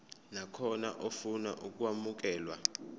nakhona ofuna ukwamukelwa